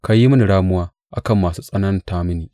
Ka yi mini ramuwa a kan masu tsananta mini.